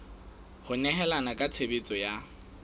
ho nehelana ka tshebeletso ya